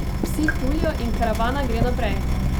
Psi tulijo in karavana gre naprej!